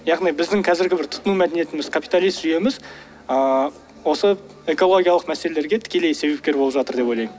яғни біздің қазіргі бір тұтыну мәдениетіміз капиталист жүйеміз ыыы осы экологиялық мәселелерге тікелей себепкер болып жатыр деп ойлаймын ммм түсінікті